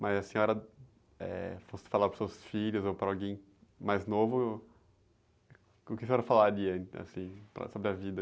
Mas a senhora, eh, fosse falar para os seus filhos ou para alguém mais novo, o que a senhora falaria, assim, para, sobre a vida?